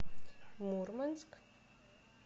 мурманск